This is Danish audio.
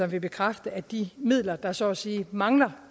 vil bekræfte at de midler der så at sige mangler